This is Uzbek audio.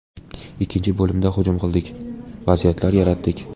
Ikkinchi bo‘limda hujum qildik, vaziyatlar yaratdik.